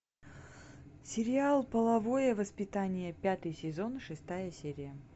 сериал половое воспитание пятый сезон шестая серия